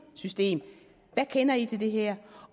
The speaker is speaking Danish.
system hvad kender i til det her